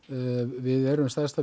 við erum stærsta